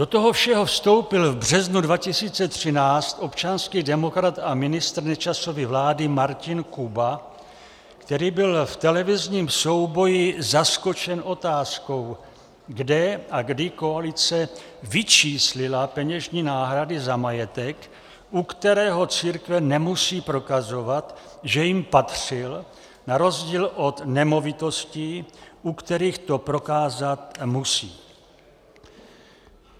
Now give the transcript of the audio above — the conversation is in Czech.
Do toho všeho vstoupil v březnu 2013 občanský demokrat a ministr Nečasovy vlády Martin Kuba, který byl v televizním souboji zaskočen otázkou, kde a kdy koalice vyčíslila peněžní náhrady za majetek, u kterého církve nemusí prokazovat, že jim patřil, na rozdíl od nemovitostí, u kterých to prokázat musí.